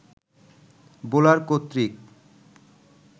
bowler কর্তৃক